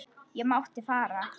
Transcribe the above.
Ég mátti fara.